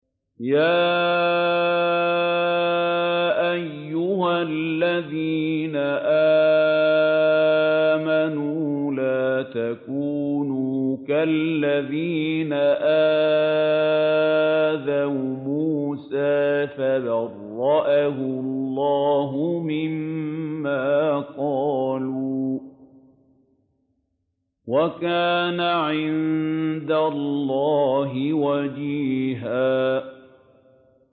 يَا أَيُّهَا الَّذِينَ آمَنُوا لَا تَكُونُوا كَالَّذِينَ آذَوْا مُوسَىٰ فَبَرَّأَهُ اللَّهُ مِمَّا قَالُوا ۚ وَكَانَ عِندَ اللَّهِ وَجِيهًا